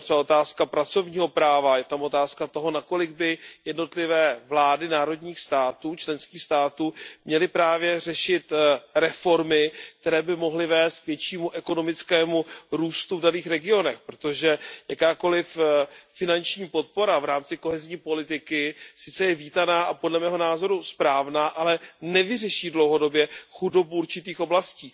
Je tam třeba otázka pracovního práva, je tam otázka toho, nakolik by jednotlivé vlády členských států měly řešit reformy, které by mohly vést k většímu ekonomickému růstu v daných regionech, protože jakákoliv finanční podpora v rámci kohezní politiky je sice vítaná a podle mého názoru správná, ale nevyřeší dlouhodobě chudobu určitých oblastí.